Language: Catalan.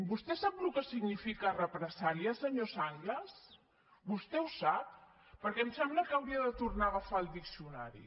vostè sap el que significa represàlia senyor sanglas vostè ho sap perquè em sembla que hauria de tornar a agafar el diccionari